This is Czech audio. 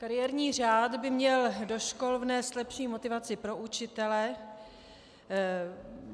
Kariérní řád by měl do škol vnést lepší motivaci pro učitele.